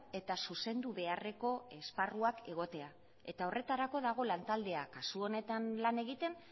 eta zuzendu beharreko esparruak egotea eta horretarako dago lantaldea kasu honetan lan egiten